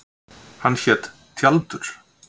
Hann hét Tjaldur.